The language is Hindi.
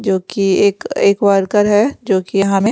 जो कि एक एक वर्कर है जो कि हमें--